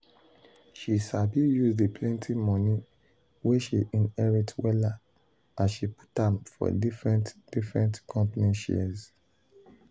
she sabi use de plenty money wey she inherit wella as she put am for different different company shares.